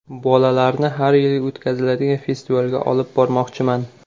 Bolalarni har yili o‘tkaziladigan festivalga olib bormoqchiman.